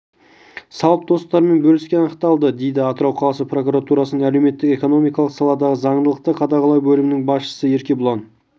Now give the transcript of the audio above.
салып достарымен бөліскені анықталды дейді атырау қаласы прокуратурасының әлеуметтік-экономикалық саладағы заңдылықты қадағалау бөлімінің басшысы еркебұлан